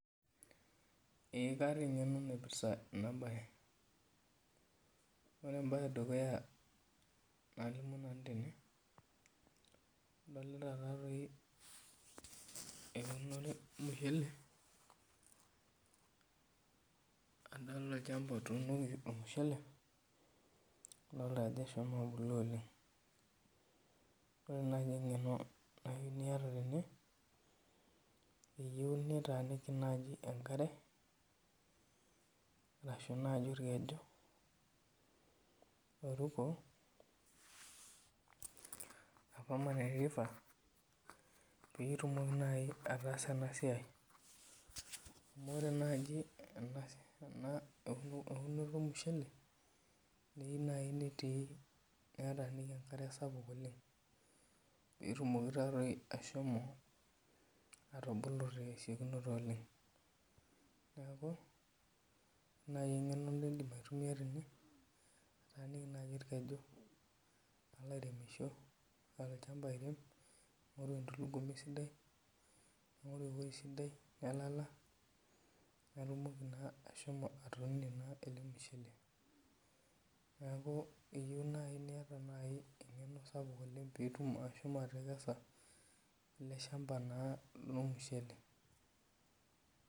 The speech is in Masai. Ee kaata eng'eno naipirta enabae. Ore ebae edukuya nalimu nanu tene, adolita tatoi eunore ormushele, adolta olchamba otuunoki ormushele, adolta ajo eshomo abulu oleng. Ore nai eng'eno nayu niata tene, eyieu nitaaniki nai enkare, ashu naji orkeju oruko, ashu permanent river, pitumoki nai ataasa enasiai. Amu ore nai eunoto ormushele, keu nai netii netaaniki enkare sapuk oleng, petumoki tatoi ashomo atubulu tesiokinoto oleng. Neeku, ore nai eng'eno naidim aitumia tene, kataaniki nai orkeju palo airemisho, olchamba airem, ning'oru endulugumi sidai, ning'oru ewoi sidai nelala, patumoki ashomo atuunie naa ele mushele. Neeku, eyieu nai niata eng'eno sapuk oleng pitum ashomo atekesa ele shamba naa lormushele.